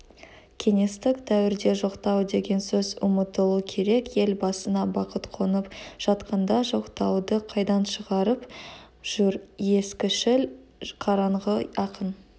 кеңестік дәуірде жоқтау деген сөз ұмытылу керек ел басына бақыт қонып жатқанда жоқтауды қайдан шығарып жүр ескішіл қараңғы ақын